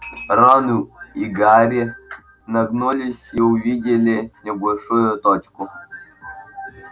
рон и гарри нагнулись и увидели небольшую тонкую книжку